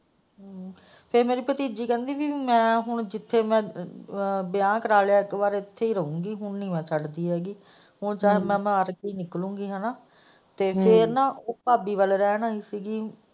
ਤੇ ਮੇਰੀ ਭਤੀਜੀ ਕਹਿੰਦੀ ਕਿ ਮੈਂ ਹੁਣ ਜਿੱਥੇ ਵਿਆਹ ਕਰਾ ਲਿਆ ਇੱਕ ਵਾਰ ਇੱਥੇ ਹੀ ਰਹੋਗੀ ਹੁਣ ਨਹੀਂ ਮੈਂ ਛੱਡਦੀ ਹੈਗੀ ਹੁਣ ਚਾਹੇ ਮੈਂ ਮਰ ਕੇ ਹੀ ਨਿਕਲੋ ਗਈ ਫੇਰ ਨਾ ਉਹ ਭਾਬੀ ਵੱਲ ਰਹਿਣ ਆਈ ਸੀ।